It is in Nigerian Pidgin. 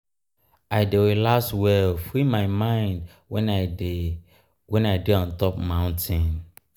i dey relax well free my mind wen i dey wen i dey on top mountain.